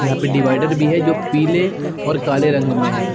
यहाँ पे डीवाइडर भी है जो पीले और काले रंग में है।